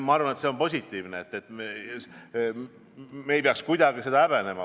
Ma arvan, et see on positiivne ja me ei peaks kuidagi seda häbenema.